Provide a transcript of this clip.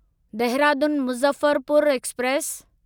Dehradun Muzaffarpur express